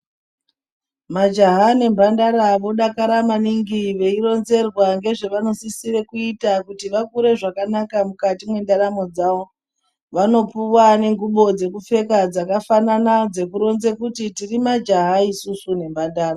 Majaha nemhandara vodakara maningi veironzerwa ngezvavanosisire kuita kuti vakure zvakanaka mukati mwendaramo dzavo. Vanopuva nengubo dzekupfeka dzakafanana dzekuronze kuti tiri majaha isusu nemhandara.